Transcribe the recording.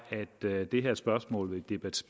at det her spørgsmål vil